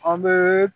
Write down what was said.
An bɛ